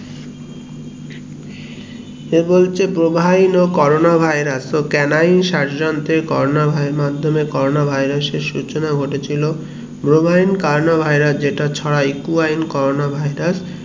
এ বলছে provine corona virus তো canine শস্যন্ত্রে মাধ্যেম corona virus এর সূচনা ঘটেছিলো provine corona virus যেটা চড়া equewine corona virus